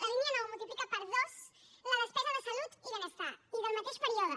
la línia nou multiplica per dos la despesa de salut i benestar i del mateix període